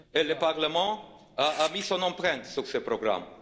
Le Parlement a mis son empreinte sur ce programme.